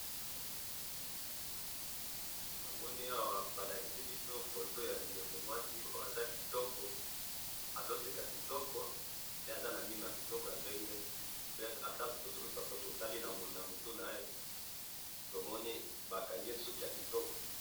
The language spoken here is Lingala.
namoni awa balakisi biso foto ya ndeko mwasi oyo aza kitoko, azoseka kitoko, pe aza namino yakitoko yapembe, pe ata totali namutu naye tomoni bakangiye suki yakitoko